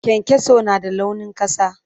Kyankyaso na da launin ƙasa.